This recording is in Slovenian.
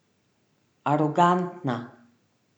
Arogantna.